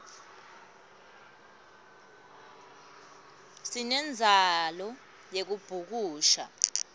sinemdzalo yekubhukusha